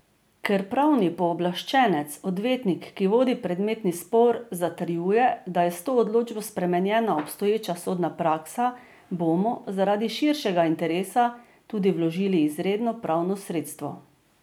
Ker pravni pooblaščenec, odvetnik, ki vodi predmetni spor, zatrjuje, da je s to odločbo spremenjena obstoječa sodna praksa, bomo, zaradi širšega interesa, tudi vložili izredno pravno sredstvo.